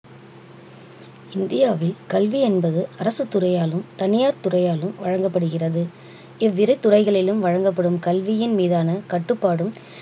இந்தியாவில் கல்வி என்பது அரசுத் துறையாலும் தனியார் துறையாலும் வழங்கப்படுகிறது இவ்விரு துறைகளிலும் வழங்கப்படும் கல்வியின் மீதான கட்டுப்பாடும்